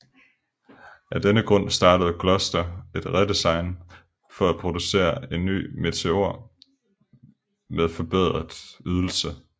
Af denne grund startede Gloster et redesign for at producere en ny Meteor med forbedret ydelse